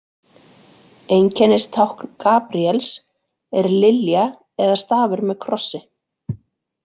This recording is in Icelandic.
Einkennistákn Gabríels er lilja eða stafur með krossi.